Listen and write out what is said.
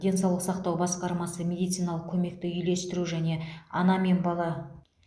денсаулық сақтау басқармасы медициналық көмекті үйлестіру және ана мен бала